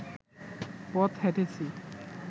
পথ হেঁটেছি